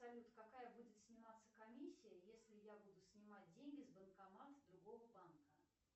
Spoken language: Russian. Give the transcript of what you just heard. салют какая будет сниматься комиссия если я буду снимать деньги с банкомата другого банка